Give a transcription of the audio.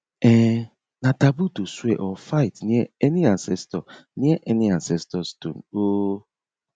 um na taboo to swear or fight near any ancestor near any ancestor stone um